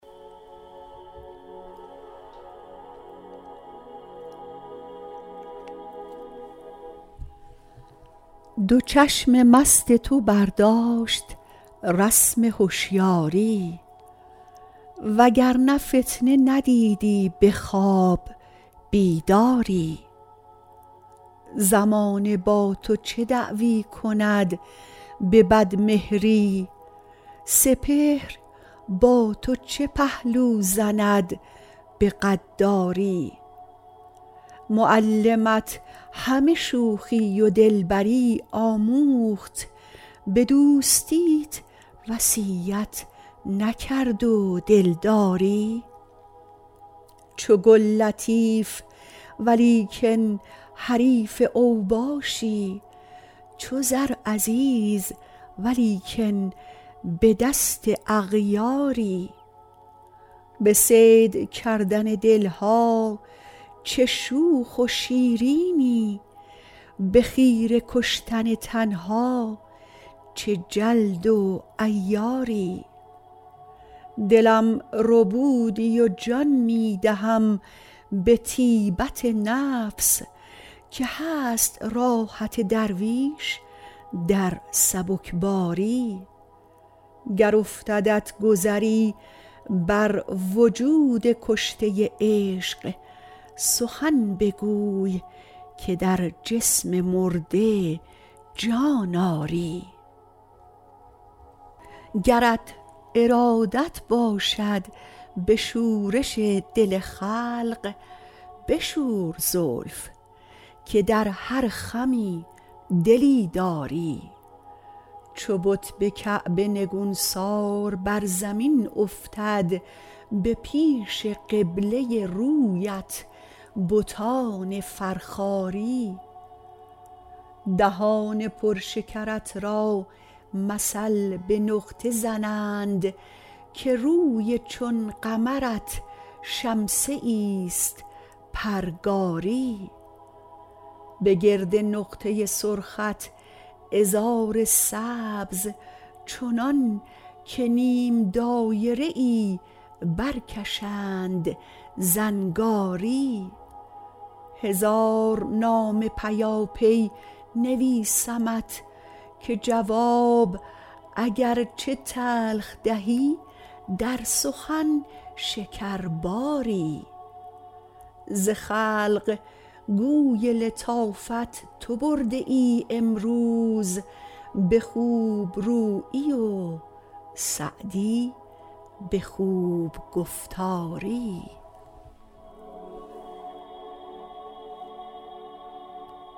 دو چشم مست تو برداشت رسم هشیاری و گر نه فتنه ندیدی به خواب بیداری زمانه با تو چه دعوی کند به بدمهری سپهر با تو چه پهلو زند به غداری معلمت همه شوخی و دلبری آموخت به دوستیت وصیت نکرد و دلداری چو گل لطیف ولیکن حریف اوباشی چو زر عزیز ولیکن به دست اغیاری به صید کردن دل ها چه شوخ و شیرینی به خیره کشتن تن ها چه جلد و عیاری دلم ربودی و جان می دهم به طیبت نفس که هست راحت درویش در سبکباری گر افتدت گذری بر وجود کشته عشق سخن بگوی که در جسم مرده جان آری گرت ارادت باشد به شورش دل خلق بشور زلف که در هر خمی دلی داری چو بت به کعبه نگونسار بر زمین افتد به پیش قبله رویت بتان فرخاری دهان پر شکرت را مثل به نقطه زنند که روی چون قمرت شمسه ایست پرگاری به گرد نقطه سرخت عذار سبز چنان که نیم دایره ای برکشند زنگاری هزار نامه پیاپی نویسمت که جواب اگر چه تلخ دهی در سخن شکرباری ز خلق گوی لطافت تو برده ای امروز به خوب رویی و سعدی به خوب گفتاری